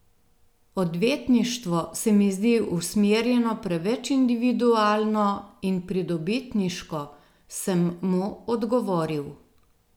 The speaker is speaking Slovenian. Odvetništvo se mi zdi usmerjeno preveč individualno in pridobitniško, sem mu odgovoril.